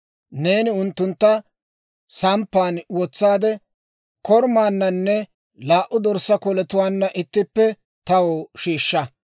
Neeni unttuntta samppan wotsaade, korumaananne laa"u dorssaa koletuwaanna ittippe taw shiishsha.